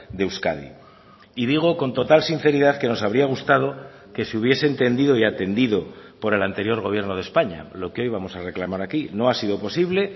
de euskadi y digo con total sinceridad que nos habría gustado que se hubiese entendido y atendido por el anterior gobierno de españa lo que hoy vamos a reclamar aquí no ha sido posible